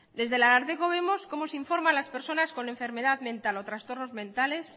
desde el ararteko vemos como se informa a las personas con enfermedad mental o trastornos mentales